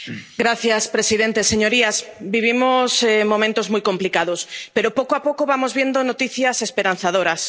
Señor presidente, señorías, vivimos momentos muy complicados, pero, poco a poco, vamos viendo noticias esperanzadoras.